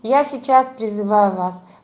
я сейчас призываю вас